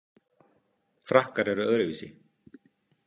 Frakkar eru öðruvísi.